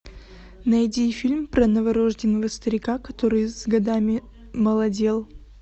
найди фильм про новорожденного старика который с годами молодел